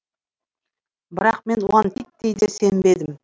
бірақ мен оған титтей де сенбедім